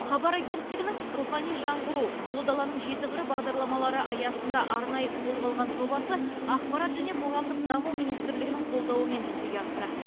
хабар агенттігінің рухани жаңғыру ұлы даланың жеті қыры бағдарламалары аясында арнайы қолға алған жобасы ақпарат және қоғамдық даму министрлігінің қолдауымен жүзеге асты